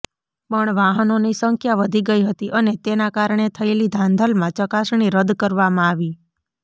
પણ વાહનોની સંખ્યા વધી ગઈ હતી અને તેના કારણે થયેલી ધાંધલમાં ચકાસણી રદ કરવામાં આવી